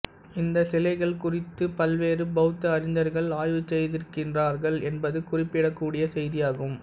இந்த சிலைகள் குறித்து பல்வேறு பெளத்த அறிஞர்கள் ஆய்வுசெய்திருக்கின்றார்கள் என்பது குறிப்பிடக்கூடிய செய்தியாகும்